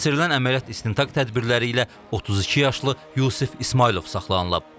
Keçirilən əməliyyat istintaq tədbirləri ilə 32 yaşlı Yusif İsmayılov saxlanılıb.